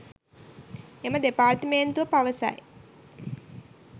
එම දෙපාර්තමේන්තුව පවසයි